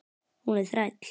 Hún er þræll.